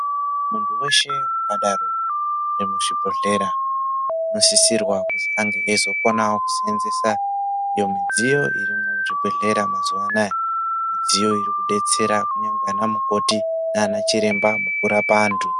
Muntu weshe muzvibhehlera vanosisirwa kuti ange eizokonawo kushandisa iyo midziyo irimuzvibhedhlera mazuwa anaya mudziyo iri kudetsera ana mukoti nana chiremba kurapa antu.